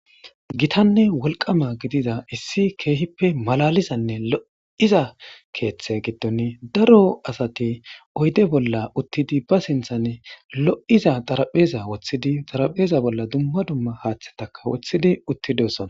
Gitanne wolqama gidida issi keehippe malalizanne lo7iza keeththe giddon daro asati oyde bolla uttidi ba sinthanne lo7iza xarapheza woththidi xarapheza bolla dumma dumma haaththetaka wothidi uttidiosona.